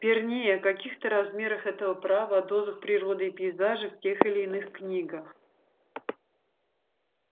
вернее о каких-то размерах этого права о дозах природы и пейзажа в тех или иных книгах